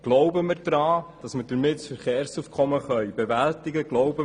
Glauben wir daran, dass wir damit das Verkehrsaufkommen bewältigen können?